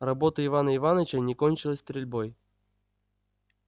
работа ивана иваныча не кончилась стрельбой